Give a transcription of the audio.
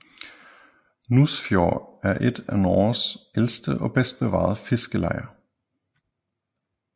Nusfjord er et af Norges ældste og bedst bevarede fiskerlejer